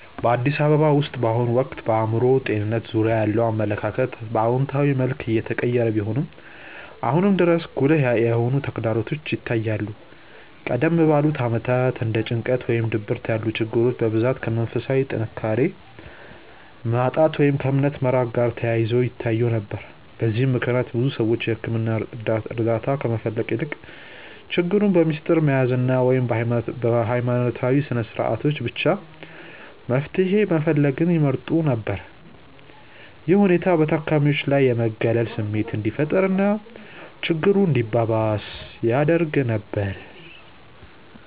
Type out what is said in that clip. በአዲስ አበባ ውስጥ በአሁኑ ወቅት በአእምሮ ጤንነት ዙሪያ ያለው አመለካከት በአዎንታዊ መልኩ እየተቀየረ ቢሆንም፣ አሁንም ድረስ ጉልህ የሆኑ ተግዳሮቶች ይታያሉ። ቀደም ባሉት ዓመታት እንደ ጭንቀት ወይም ድብርት ያሉ ችግሮች በብዛት ከመንፈሳዊ ጥንካሬ ማጣት ወይም ከእምነት መራቅ ጋር ተያይዘው ይታዩ ነበር። በዚህም ምክንያት ብዙ ሰዎች የሕክምና እርዳታ ከመፈለግ ይልቅ ችግሩን በምስጢር መያዝን ወይም በሃይማኖታዊ ስነስርዓቶች ብቻ መፍትሄ መፈለግን ይመርጡ ነበር። ይህ ሁኔታ በታካሚዎች ላይ የመገለል ስሜት እንዲፈጠር እና ችግሩ እንዲባባስ ያደርግ ነበር።